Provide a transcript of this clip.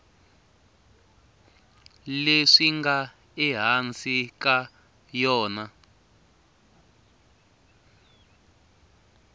leswi nga ehansi ka yona